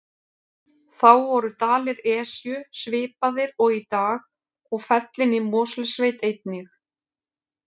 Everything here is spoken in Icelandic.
Þá voru dalir Esju svipaðir og í dag og fellin í Mosfellssveit einnig.